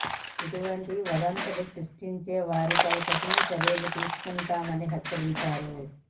ఇటువంటి వదంతులు సృష్టించే వారిపై కఠిన చర్యలు తీసుకుంటామని హెచ్చరించారు